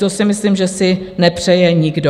To si myslím, že si nepřeje nikdo.